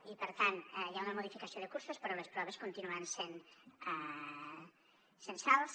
i per tant hi ha una modificació de cursos però les proves continuen sent censals